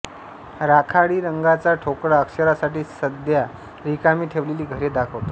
राखाडी रंगाचा ठोकळा अक्षरांसाठी सध्या रिकामी ठेवलेली घरे दाखवतो